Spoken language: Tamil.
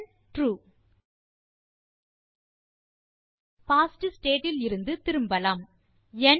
ரிட்டர்ன் ட்ரூ பாஸ்ட் ஸ்டேட் இலிருந்து திரும்பலாம்